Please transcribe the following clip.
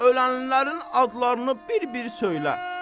Ölənlərin adlarını bir-bir söylə.